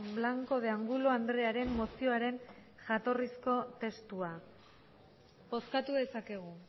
blanco de angulo andrearen mozioaren jatorrizko testua bozkatu dezakegu